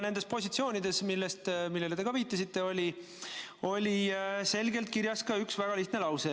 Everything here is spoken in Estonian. Nendes positsioonides, millele te ka viitasite, oli selgelt kirjas ka üks väga lihtne lause.